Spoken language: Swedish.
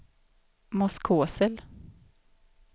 Moskosel